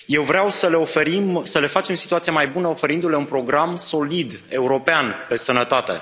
Eu vreau să le oferim, să le facem situația mai bună, oferindu le un program solid european de sănătate.